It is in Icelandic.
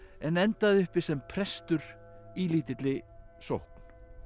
en endaði uppi sem prestur í lítilli sókn